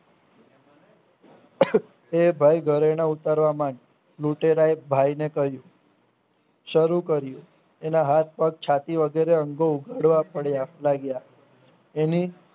એ ભાઈ ધરેણા ઉતારવા મનડ લુટેરાયે ભાઈને કહ્યું સરું કર્યું એના હાથ પગ છાતી વગેરે અંગો ઉપરવા પડ્યા લાગ્યા એની